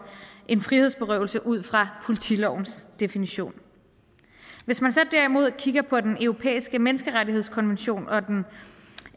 en frihedsberøvelse ud fra politilovens definition hvis man så derimod kigger på den europæiske menneskerettighedskonvention og den